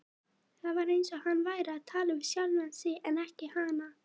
Það var eins og hann væri að tala við sjálfan sig en ekki hana.